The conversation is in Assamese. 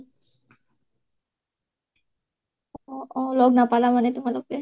অ অ লগ নাপালা মানে তুমালোকে